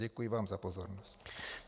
Děkuji vám za pozornost.